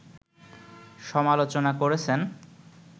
সমালোচনা করেছেন